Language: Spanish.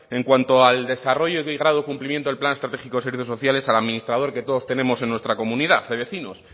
en cuanto al desarrollo cumplimiento del plan estratégico de servicios sociales al administrador que todos tenemos en nuestra comunidad de vecinos